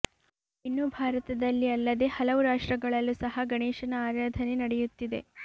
ಇನ್ನು ಭಾರತದಲ್ಲಿ ಅಲ್ಲದೆ ಹಲವು ರಾಷ್ಟ್ರಗಳಲ್ಲೂ ಸಹ ಗಣೇಶನ ಆರಾಧನೆ ನಡೆಯುತ್ತಿದೆ